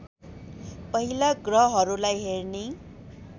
पहिला ग्रहहरूलाई हेर्ने